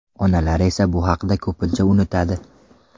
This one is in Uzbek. Onalar esa bu haqida ko‘pincha unutadi.